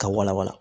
Ka wala wala